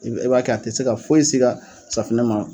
E be e b'a kɛ a te se ka foyi s'i ka safinɛ ma